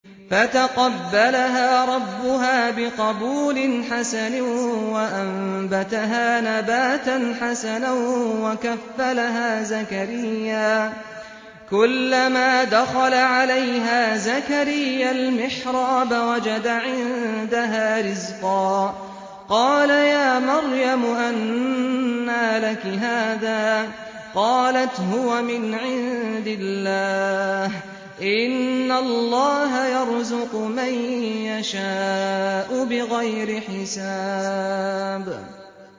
فَتَقَبَّلَهَا رَبُّهَا بِقَبُولٍ حَسَنٍ وَأَنبَتَهَا نَبَاتًا حَسَنًا وَكَفَّلَهَا زَكَرِيَّا ۖ كُلَّمَا دَخَلَ عَلَيْهَا زَكَرِيَّا الْمِحْرَابَ وَجَدَ عِندَهَا رِزْقًا ۖ قَالَ يَا مَرْيَمُ أَنَّىٰ لَكِ هَٰذَا ۖ قَالَتْ هُوَ مِنْ عِندِ اللَّهِ ۖ إِنَّ اللَّهَ يَرْزُقُ مَن يَشَاءُ بِغَيْرِ حِسَابٍ